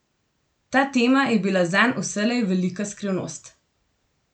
Ta tema je bila zanj vselej velika skrivnost.